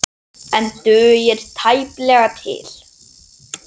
En dugir tæplega til.